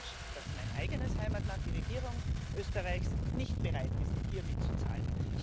Ich bin enttäuscht, dass mein eigenes Heimatland, die Regierung Österreichs, nicht bereit ist, hier mitzuzahlen.